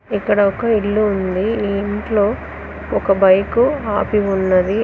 ఇక్కడ ఒక ఇల్లు ఉంది ఈ ఇంట్లో ఒక బైక్ ఆపి ఉన్నది.